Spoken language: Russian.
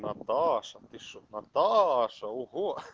наташа ты что наташа ого